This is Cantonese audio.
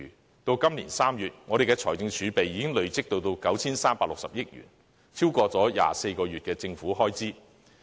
截至今年3月，我們的財政儲備已累積至 9,360 億元，超過了24個月的政府開支。